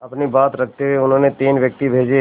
अपनी बात रखते हुए उन्होंने तीन व्यक्ति भेजे